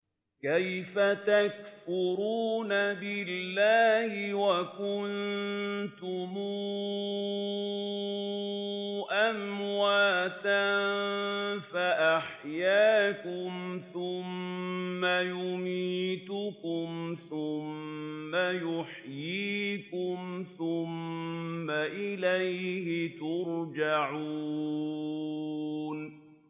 كَيْفَ تَكْفُرُونَ بِاللَّهِ وَكُنتُمْ أَمْوَاتًا فَأَحْيَاكُمْ ۖ ثُمَّ يُمِيتُكُمْ ثُمَّ يُحْيِيكُمْ ثُمَّ إِلَيْهِ تُرْجَعُونَ